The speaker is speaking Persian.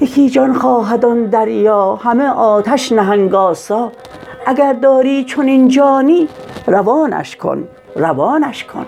یکی جان خواهد آن دریا همه آتش نهنگ آسا اگر داری چنین جانی روانش کن روانش کن